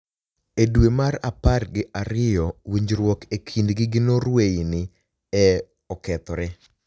E dwe mar apar gi ariyo , winijruok e kinidgi gi norway ni e okethore.